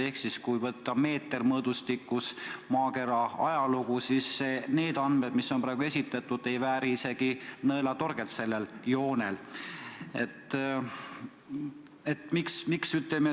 Ehk teisisõnu, kui mõõta maakera ajalugu meetermõõdustikus, siis need andmed, mis praegu on esitatud, ei vääri sellel joonel isegi mitte nõelatorget.